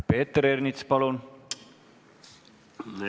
Peeter Ernits, palun!